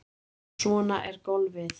Svona er golfið.